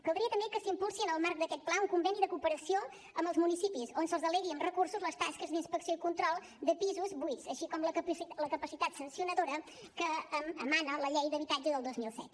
caldria també que s’impulsi en el marc d’aquest pla un conveni de cooperació amb els municipis on se’ls delegui amb recursos les tasques d’inspecció i control de pisos buits així com la capacitat sancionadora que emana de la llei d’habitatge del dos mil set